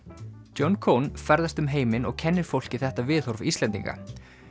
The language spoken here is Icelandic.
John ferðast um heiminn og kennir fólki þetta viðhorf Íslendinga